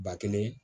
Ba kelen